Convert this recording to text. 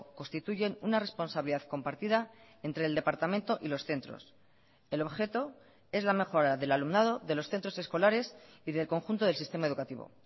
constituyen una responsabilidad compartida entre el departamento y los centros el objeto es la mejora del alumnado de los centros escolares y del conjunto del sistema educativo